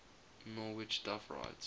norwich duff writes